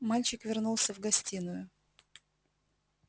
мальчик вернулся в гостиную